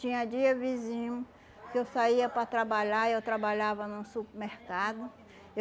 Tinha dia vizinho que eu saía para trabalhar, eu trabalhava num supermercado.